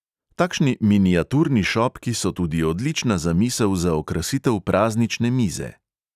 Takšni miniaturni šopki so tudi odlična zamisel za okrasitev praznične mize.